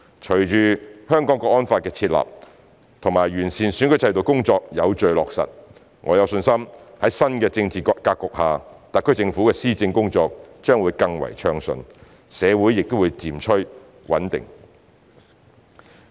隨着《香港國安法》的設立及完善選舉制度的工作有序地落實，我有信心在新的政治格局下，特區政府的施政工作將會更暢順，社會亦會漸趨穩定。